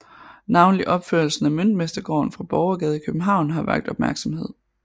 Navnlig opførelsen af Møntmestergården fra Borgergade i København har vakt opmærksomhed